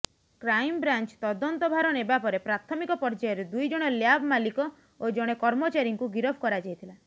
crime branch ତଦନ୍ତ ଭାର ନେବାପରେ ପ୍ରାଥମିକ ପର୍ଯ୍ୟାୟରେ ଦୁଇଜଣ ଲ୍ୟାବ୍ ମାଲିକ ଓ ଜଣେ କର୍ମଚାରୀଙ୍କୁ ଗିରଫ କରାଯାଇଥିଲା